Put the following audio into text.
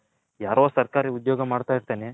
ಯಾರೊ ಸರ್ಕಾರೀ ಉದ್ಯೋಗ ಮಾಡ್ತೈರ್ತನೆ .